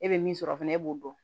E bɛ min sɔrɔ fɛnɛ e b'o dɔn